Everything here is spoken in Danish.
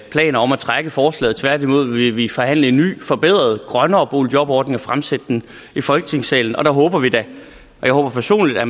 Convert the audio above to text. planer om at trække forslaget tværtimod vil vi forhandle en ny forbedret grønnere boligjobordning og fremsætte den i folketingssalen og der håber vi da og jeg håber personligt at